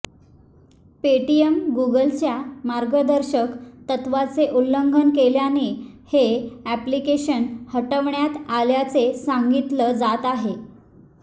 पेटीएमने गुगलच्या मार्गदर्शक तत्वाचे उल्लंघन केल्याने हे अॅप्लिकेशन हटवण्यात आल्याचे सांगितलं जात आहे